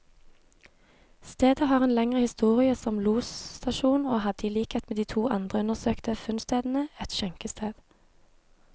Stedet har en lengre historie som losstasjon, og hadde i likhet med de to andre undersøkte funnstedene, et skjenkested.